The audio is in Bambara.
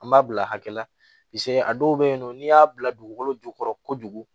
An b'a bila hakɛ la a dɔw bɛ yen nɔ n'i y'a bila dugukolo jukɔrɔ kojugu